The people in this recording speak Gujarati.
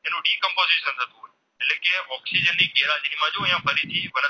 Oxygen માં જો અહીંયા ફરીથી